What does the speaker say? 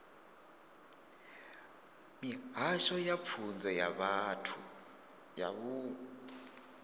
mihasho ya pfunzo ya vunḓu